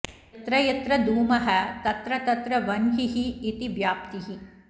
यत्र यत्र धूमः तत्र तत्र वन्हिः इति व्याप्तिः